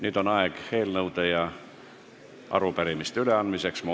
Nüüd on eelnõude ja arupärimiste üleandmise aeg.